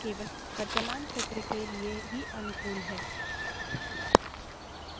लेकिन एक but का ध्यान रखें कि यह संशोधन केवल वर्तमान सत्र के लिए ही अनुकूल हैं